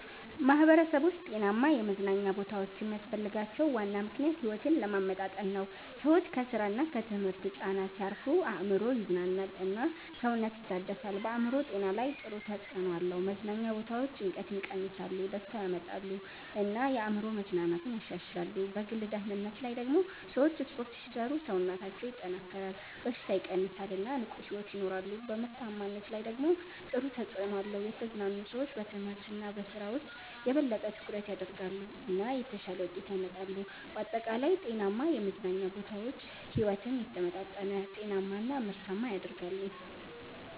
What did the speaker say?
ማህበረሰቦች ጤናማ የመዝናኛ ቦታዎች የሚያስፈልጋቸው ዋና ምክንያት ሕይወትን ለማመጣጠን ነው። ሰዎች ከስራ እና ከትምህርት ጫና ሲያርፉ አእምሮ ይዝናናል እና ሰውነት ይታደሳል። በአእምሮ ጤና ላይ ጥሩ ተጽዕኖ አለው። መዝናኛ ቦታዎች ጭንቀትን ይቀንሳሉ፣ ደስታ ያመጣሉ እና የአእምሮ መዝናናትን ያሻሽላሉ። በግል ደህንነት ላይ ደግሞ ሰዎች ስፖርት ሲሰሩ ሰውነታቸው ይጠናከራል፣ በሽታ ይቀንሳል እና ንቁ ሕይወት ይኖራሉ። በምርታማነት ላይ ደግሞ ጥሩ ተጽዕኖ አለው። የተዝናኑ ሰዎች በትምህርት እና በስራ ውስጥ የበለጠ ትኩረት ያደርጋሉ እና የተሻለ ውጤት ያመጣሉ። በአጠቃላይ ጤናማ የመዝናኛ ቦታዎች ሕይወትን የተመጣጠነ፣ ጤናማ እና ምርታማ ያደርጋሉ።